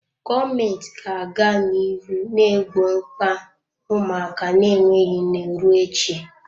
Gọọmenti ga-aga n'ihu na-egbo mkpa ụmụaka na-enweghị nne ruo echi.